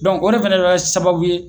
o de fɛnɛ bi kɛ sababu ye